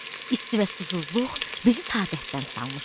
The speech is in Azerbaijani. İsti və susuzluq bizi taqətdən salmışdı.